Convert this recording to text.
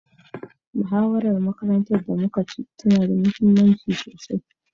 Muhawarar makarantar da muka ci tana da muhimmanci sosai.